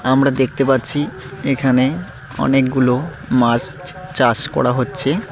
আমরা দেখতে পাচ্ছি এখানে অনেকগুলো মাস চাষ করা হচ্ছে।